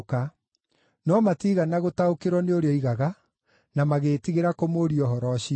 No matiigana gũtaũkĩrwo nĩ ũrĩa oigaga, na magĩĩtigĩra kũmũũria ũhoro ũcio.